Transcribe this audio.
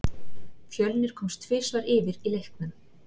Fjölnir komst tvisvar yfir í leiknum.